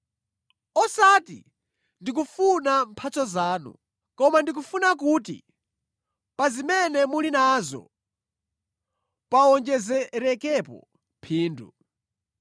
Osati ndikufuna mphatso zanu, koma ndikufuna kuti pa zimene muli nazo pawonjezerekepo phindu.